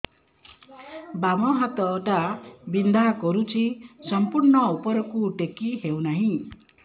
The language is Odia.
ବାମ ହାତ ଟା ବିନ୍ଧା କରୁଛି ସମ୍ପୂର୍ଣ ଉପରକୁ ଟେକି ହୋଉନାହିଁ